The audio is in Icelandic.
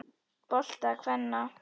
bolta kvenna.